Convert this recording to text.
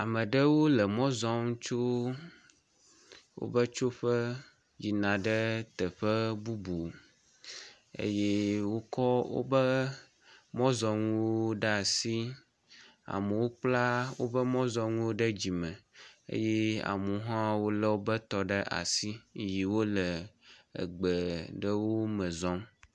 Ame aɖewo le mɔ zɔm tso woƒe tsoƒe yina ɖe teƒe bubu eye wokɔ woƒe mɔzɔ̃nuwo ɖe asi. Amewo kpla woƒe mɔzɔ̃nuwo ɖe dzime eye amewo hã lé wotɔ ɖe asi eye wole gbe ɖewo me zɔ̃m.